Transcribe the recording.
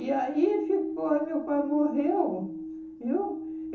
E aí ficou, aí meu pai morreu, viu?